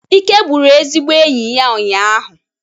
Ike gburu ezigbo enyi ya ụnyahụ